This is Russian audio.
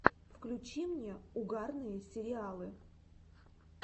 включи мне угарные сериалы